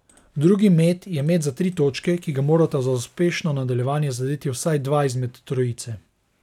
Drugi met je met za tri točke, ki ga morata za uspešno nadaljevanje zadeti vsaj dva izmed trojice.